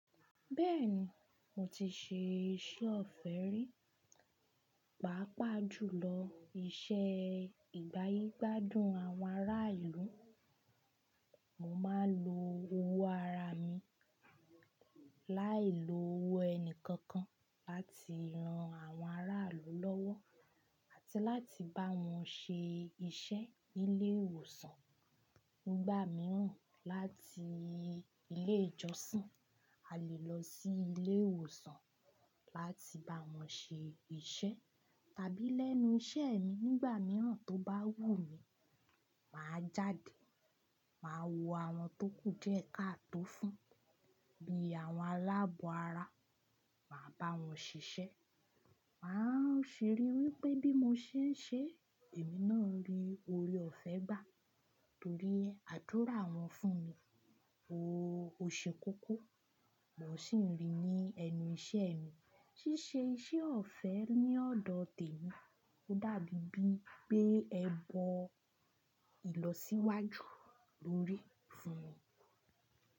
Bẹ́ẹ̀ni, mo ti ṣe iṣẹ́ ọ̀fẹ́ rí, pàápàá jùlọ iṣẹ́ ìgbáyígbádùn àwọn ará ìlú. Mo máa ń lo owó ara mi láìlo owó ẹni kankan láti ran àwọn aráàlú lọ́wọ́ àti láti bá wọn ṣe iṣẹ́ nílé ìwòsàn. Nígbà mìíràn, láti ilé ìjọsìn, a lè lọ sí ilé ìwòsàn láti bá wọn ṣe iṣẹ́. Tàbí lẹ́nu iṣẹ́ mi nígbà mìíràn tó bá wù mí, màá jáde, màá wo àwọn tókù díẹ̀ káàtó fún bí i àwọn aláàbọ̀-ara, màá bá wọn ṣiṣẹ́. Màá ṣìri wípé bí mo ṣe ń ṣe, èmi náà ń rí oore ọ̀fẹ́ gbà torí àdúrà wọn fún mi. Ooo, ò ṣè kókó, mòó sì ń rí i ní ẹnu iṣẹ́ mi. Síse iṣẹ́ ọ̀fẹ́ ní ọ̀dọ̀ tèmi dábí bi pé ẹbọ ìlọsíwájú lórí fún mi.